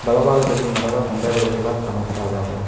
ಬಲಭಾಗದಲ್ಲಿ ಮರದ ಕೊಂಬೆಗಳು ಕೂಡ ಕಾಣಿಸ್ತಾ ಇದಾವೆ.